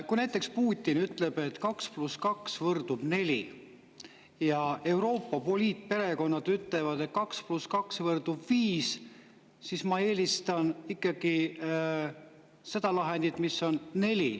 Kui näiteks Putin ütleb, et kaks pluss kaks võrdub neli, ja Euroopa poliitperekonnad ütlevad, et kaks pluss kaks võrdub viis, siis ma eelistan ikkagi seda lahendit, mis on neli.